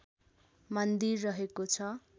मन्दिर रहेको छ